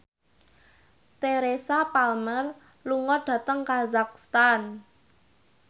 Teresa Palmer lunga dhateng kazakhstan